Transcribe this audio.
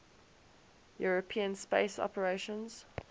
european space operations